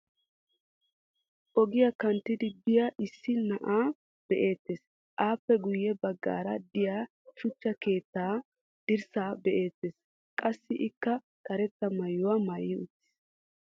ogiya kanttidi biya issi na'ay beetees. appe guye bagaara diya shuchcha keetta dirsaa be, eetees. qassi ikka karettaa maayuwa maayi uttis.